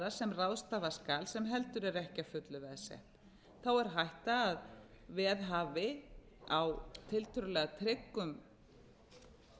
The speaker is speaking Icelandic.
sem ráðstafa skal sem heldur er ekki að fullu veðsett þá er hætta á að veðhafi á tiltölulega tryggum